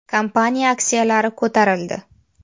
Kompaniya aksiyalari ko‘tarildi.